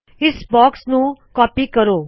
ਇਸ ਬਾਕਸ ਨੂ ਕਾਪੀ ਕਰਿਏ